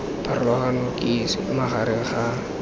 pharologano ke eng magareng ga